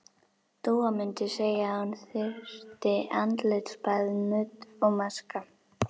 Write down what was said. Dúa mundi segja að hún þyrfti andlitsbað, nudd og maska.